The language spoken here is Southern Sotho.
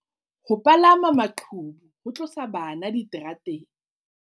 Ho palama maqhubu ho tlosa bana diterateng